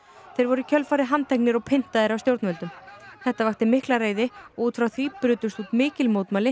þeir voru í kjölfarið handteknir og pyntaðir af stjórnvöldum þetta vakti mikla reiði og út frá því brutust út mikil mótmæli